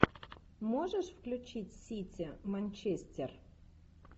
можешь включить сити манчестер